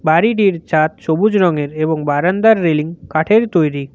বাড়িটির ছাদ সবুজ রংয়ের এবং বারান্দার রেলিং কাঠের তৈরি।